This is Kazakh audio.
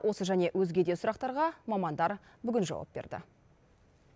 осы және өзге де сұрақтарға мамандар бүгін жауап берді